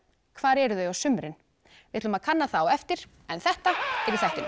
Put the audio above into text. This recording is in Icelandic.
hvar eru þau á sumrin við ætlum að kanna það á eftir en þetta er í þættinum